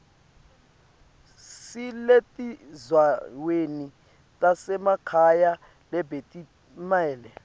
lisetindzaweni tasemakhaya lebetitimele